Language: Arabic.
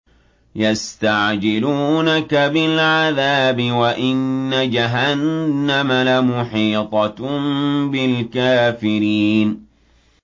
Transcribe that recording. يَسْتَعْجِلُونَكَ بِالْعَذَابِ وَإِنَّ جَهَنَّمَ لَمُحِيطَةٌ بِالْكَافِرِينَ